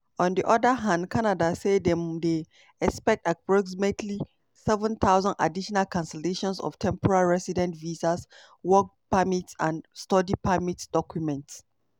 on di oda hand canada say dem dey expect "approximately 7000 additional cancellations of temporary resident visas work permits and study permit documents".